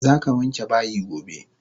Zaka wanke bayi gobe!